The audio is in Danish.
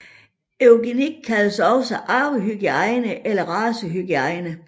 Eugenik kaldes også arvehygiejne eller racehygiejne